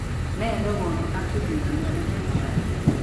Nee ne koonu acute intermittent porphyria ?